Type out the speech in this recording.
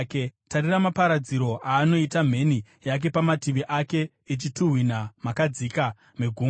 Tarirai maparadziro aanoita mheni yake pamativi ake, ichituhwina makadzika megungwa.